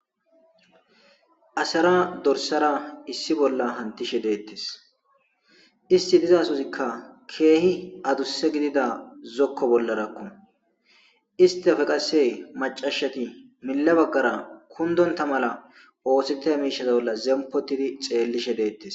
Asara dorsara issi bolla hantishe deettis isti dizasozikka keehi adusse gidida zokko bollarakku istafe qasse macashati mille baggara kundonta mala oosete miishaz bolla zempotidi xeellishe deettis.